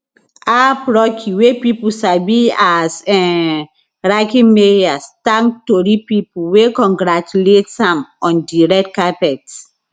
aap rocky wey pipo sabi as um rakim mayers thank tori pipo wey congratulates am on di red carpet